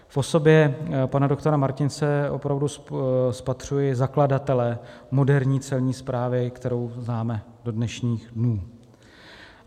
V osobě pana doktora Martince opravdu spatřuji zakladatele moderní Celní správy, kterou známe do dnešních dnů.